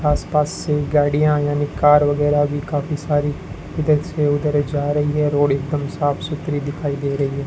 आसपास से गाड़ियां यानी कार वगैरह भी काफी सारी इधर से उधर जा रही है। रोड एकदम साफ सुथरी दिखाई दे रही है।